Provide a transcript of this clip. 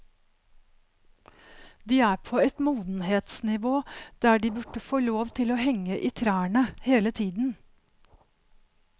De er på et modenhetsnivå der de burde få lov til å henge i trærne hele tiden.